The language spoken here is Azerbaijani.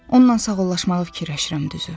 Ondan sağollaşmağı fikirləşirəm, düzü.